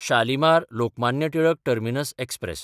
Shalimar-Lokmanya Tilak terminus express